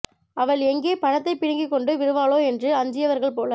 அவள் எங்கே பணத்தைப் பிடுங்கிக் கொண்டு விடுவாளோ என்று அஞ்சியவர்கள் போல